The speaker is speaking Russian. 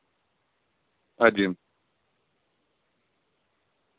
один